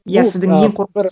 иә сіздің ең қорқынышты